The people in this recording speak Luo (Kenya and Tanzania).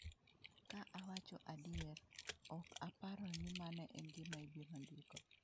Ka awacho adier, ok aparo ni mano e gima ibiro ndiko.